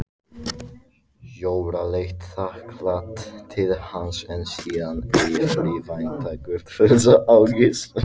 Jóra leit þakklát til hans en síðan eftirvæntingarfull á Gissur.